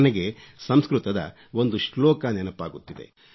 ನನಗೆ ಸಂಸ್ಕøತದ ಒಂದು ಶ್ಲೋಕ ನೆನಪಾಗುತ್ತಿದೆ